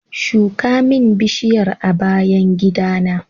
Shuka min bishiyar a bayan gidana